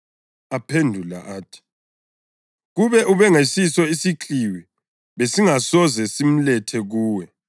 Aphendula athi, “Kube ubengesiso isikliwi besingasoze simlethe kuwe.”